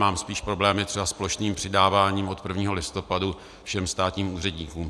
Mám spíš problémy třeba s plošným přidáváním od 1. listopadu všem státním úředníkům.